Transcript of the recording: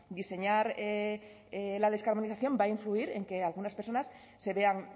diseñar la descarbonización va a influir en que algunas personas se vean